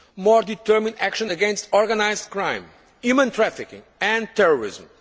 courts more determined action against organised crime, human trafficking and terrorism